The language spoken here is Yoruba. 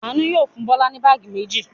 Àánú yóò fún Bọ́lá ní báágì méjì.